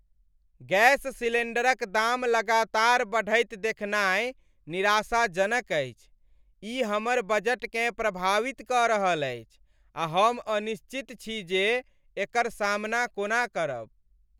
Gas सिलेंडरक दाम लगातार बढ़ैत देखनाइ निराशाजनक अछि। ई हमर बजटकेँ प्रभावित कऽ रहल अछि आ हम अनिश्चित छी जे एकर सामना कोना करब।